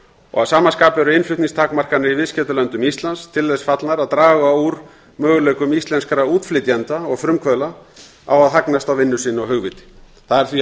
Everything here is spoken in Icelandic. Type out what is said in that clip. og að sama skapi eru innflutningstakmarkanir í viðskiptalöndum íslands til þess fallnar að draga úr möguleikum íslenskra útflytjenda og frumkvöðla á að hagnast á vinnu sinni og hugviti það er því